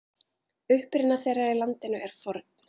Uppruni þeirra í landinu er forn.